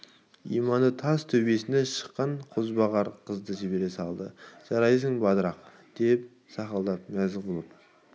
иманы тас төбесінен шыққан қозбағар қызды жібере салды жарайсың батырақ деп сақылдап мәз болып